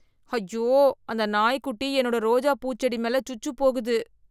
ஐயோ, அந்த நாய்க்குட்டி என்னோட ரோஜா பூ செடி மேல சுச்சு போகுது.